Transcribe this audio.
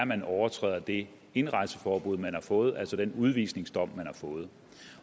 man overtræder det indrejseforbud man har fået altså den udvisningsdom man har fået